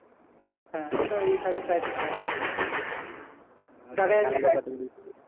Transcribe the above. হ্যাঁ এটাও এই থাকলো typing করা।